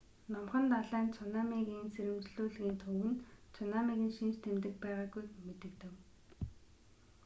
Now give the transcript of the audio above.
мөн номхон далайн цунамигийн сэрэмжлүүлгийн төв нь цунамигийн шинж тэмдэг байгаагүйг мэдэгдэв